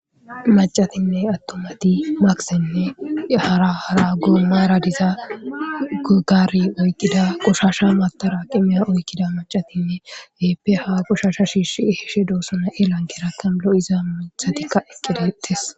Maccatinne attumati maksenne hara hara goomara diza gugaare oyqqida qoshaasha mattaraqimiya oyqqida maccatinne keehippe ha qoshaasha shiishi ehishe doosona.irakerakka lo7iza mithatikka eqqi deettees.